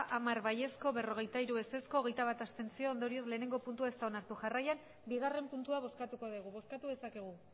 hamar bai berrogeita hiru ez hogeita bat abstentzio ondorioz batgarrena puntua ez da onartu jarraian bigarrena puntua bozkatuko dugu bozkatu dezakegu